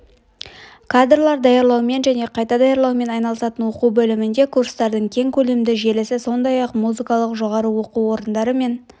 кадрлар даярлаумен және қайта даярлаумен айналысатын оқу бөлімінде курстардың кең көлемді желісі сондай-ақ музыкалық жоғары оқу орындары мен